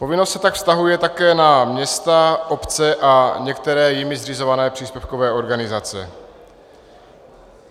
Povinnost se tak vztahuje také na města, obce a některé jimi zřizované příspěvkové organizace.